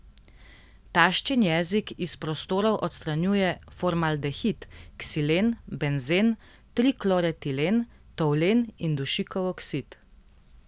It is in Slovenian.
Taščin jezik iz prostorov odstranjuje formaldehid, ksilen, benzen, trikloretilen, toulen in dušikov oksid.